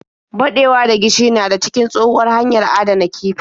Baɗewa da gishiri na da cikin tshohuwar hanyar adana kifi.